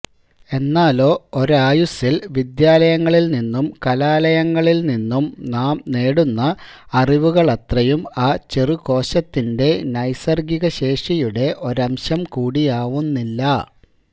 എന്നാലോ ഒരായുസ്സിൽ വിദ്യാലയങ്ങളിൽനിന്നും കലാലയങ്ങളിൽനിന്നും നാം നേടുന്ന അറിവുകളത്രയും ആ ചെറുകോശത്തിന്റെ നൈസർഗികശേഷിയുടെ ഒരംശം കൂടിയാവുന്നില്ല